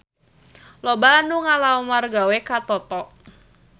Loba anu ngalamar gawe ka Toto